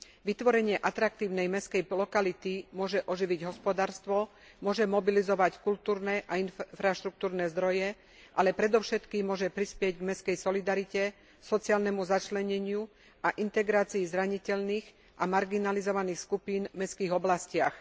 Vytvorenie atraktívnej mestskej lokality môže oživiť hospodárstvo, môže mobilizovať kultúrne a infraštruktúrne zdroje, ale predovšetkým môže prispieť k mestskej solidarite, sociálnemu začleneniu a integrácii zraniteľných a marginalizovaných skupín v mestských oblastiach.